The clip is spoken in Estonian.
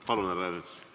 Palun, härra Ernits!